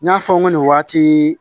N y'a fɔ n ko nin waati